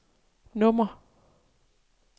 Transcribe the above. nummer